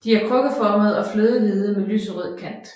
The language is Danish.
De er krukkeformede og flødehvide med lyserød kant